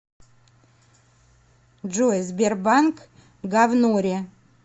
джой сбербанк говнори